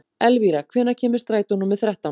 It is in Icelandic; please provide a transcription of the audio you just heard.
Elvira, hvenær kemur strætó númer þrettán?